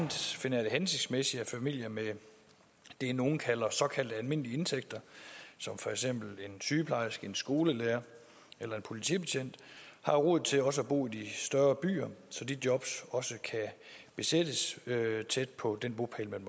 hensigtsmæssigt at familier med det nogle kalder såkaldt almindelige indtægter som for eksempel en sygeplejerske en skolelærer eller en politibetjent har råd til også at bo i de større byer så de jobs også kan besættes tæt på den bopæl man